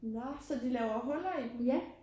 Nåh så de laver huller i dem?